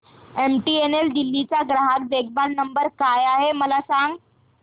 MTNL Delhi चा ग्राहक देखभाल नंबर काय आहे मला सांग